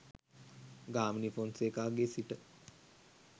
ගාමිණී ෆොන්සේකාගේ සිට